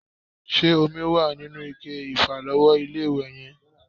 Ṣé omi wà nínú ike ìfàlọ́wọ́ ilé-ìwẹ̀ yẹn?